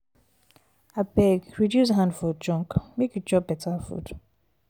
abeg reduce hand for junk make you chop beta food.